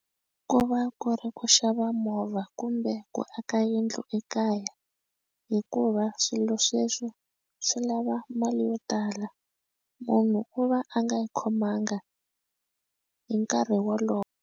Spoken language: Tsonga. Ku va ku ri ku xava movha kumbe ku aka yindlu ekaya hikuva swilo sweswo swi lava mali yo tala munhu u va a nga yi khomanga hi nkarhi wolowo.